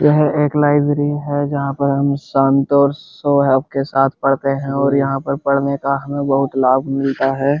यह एक लाइब्रेरी है जहाँ पर हम संतोष सोहब के साथ पढ़ते हैं और यहाँ पर पढ़ने का हमें बहोत लाभ मिलता है।